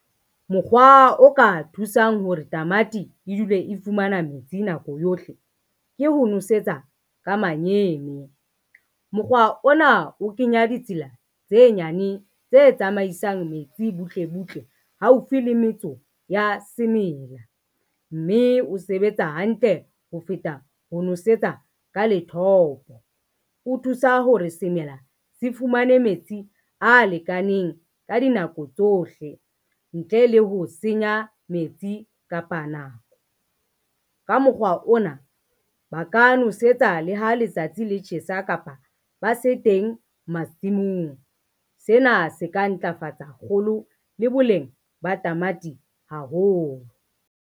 Mokgwa o ka thusang hore tamati e dule e fumana metsi nako yohle, ke ho nosetsa ka manyene. Mokgwa ona o kenya ditsela tse nyane tse tsamaisang metsi butle butle haufi le metso ya semela, mme o sebetsa hantle ho feta ho nosetsa ka lethopo. O thusa hore semela se fumane metsi a lekaneng ka dinako tsohle ntle le ho senya metsi kapa nako, ka mokgwa ona ba ka nosetsa le ha letsatsi le tjhesa kapa ba se teng masimong. Sena se ka ntlafatsa kgolo le boleng ba tamati haholo.